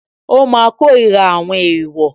Ó máa kórira àwọn èèwọ̀